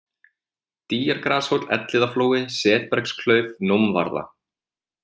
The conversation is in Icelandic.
Dýjargrashóll, Elliðaflói, Setbergsklauf, Nómvarða